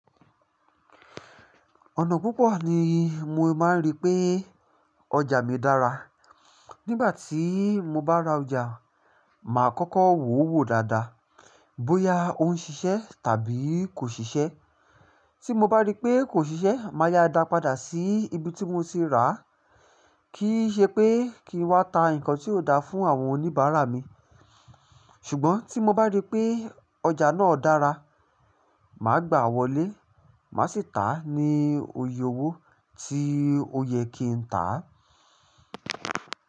Ọ̀nà púpọ̀ ni mo máa ń rí pé ọjà mi dára. Nígbà tí mo bá ra ọjà, màá kọ́kọ́ wò ó wò dáadáa bóyá ó ń ṣiṣẹ́ tàbí kò ṣiṣẹ́. Tí mo bá rí pé kò ṣiṣẹ́, màá yá a dà pàdà sí ibi tí mo ti rà á, kí í ṣe pé kí n wá ta nǹkan tí ò da fún àwọn oníbàárà mi. Ṣùgbọ́n tí mo bá rí pé ọjà náà dára, màá gbà a wọlé, màá sì tà á ní oyè owó tí ó yẹ kí n tà á.